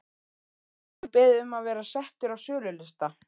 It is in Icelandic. Hefur hann beðið um að vera settur á sölulista?